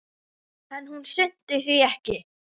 En hún sinnti því ekki.